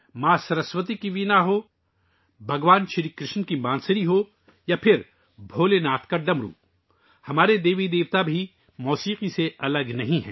ماں سرسوتی کی وینا ہو، بھگوان کرشن کی بانسری ہو یا بھولے ناتھ کا ڈمرو، ہمارے دیوی دیوتاؤں کو بھی موسیقی سے لگاؤ ہے